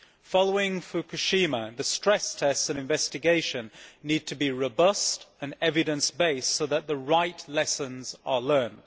Following Fukushima the stress tests and investigation need to be robust and evidence based so that the right lessons are learnt.